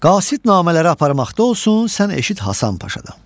Qasid namələri aparmaqda olsun, sən eşit Hasan Paşadan.